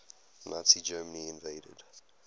nazi germany invaded